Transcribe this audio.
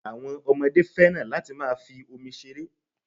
Àwọn ọmọdé féràn láti máa fi omi ṣeré.